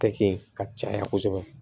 Tɛke ka caya kosɛbɛ